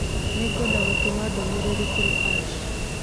Nĩngwenda gũtũma ndũmĩrĩri kũrĩ Ash.